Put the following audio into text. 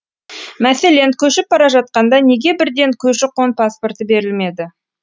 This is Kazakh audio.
мәселен көшіп бара жатқанда неге бірден көші қон паспорты берілмеді